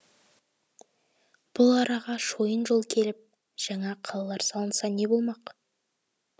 бұл араға шойын жол келіп жаңа қалалар салынса не болмақ